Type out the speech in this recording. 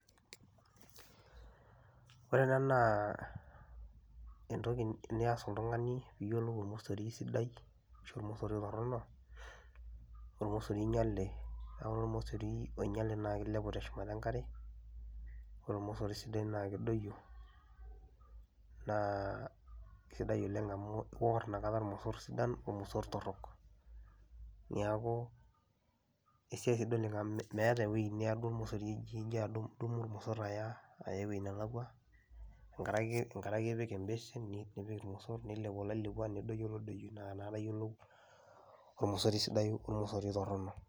Ore ena naa entoki nias oltung'ani piiyiolou ormosori sidai ashu ormosori torono, ormosori oinyale. Neeku ore ormosori oinyale naake ilepu teshumata enkare, ore ormsori sidai naa kedoiyio naa sidai oleng' amu iwor inakata irmosor sidan ormosor torok. Neeku esiai sidai oleng' amu meeta ewuei eniya duo irmosor ing'ira adu a idumu irmosor aya aya ewuei nelakua enkare ake enkare ake ipik imbeshen nipik irmosor, nilepu oloilepua nedoiyo olodoyio naa inakata iyiolou ormososi sidai ormosori torono.